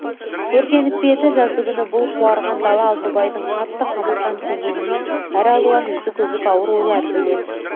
өртеніп пе еді жаздыгүні бұл қуарған дала алтыбайдың қатты қамыққан көңіліне әралуан үзік-үзік ауыр ойлар келеді